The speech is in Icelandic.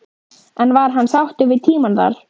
En var hann sáttur við tímann þar?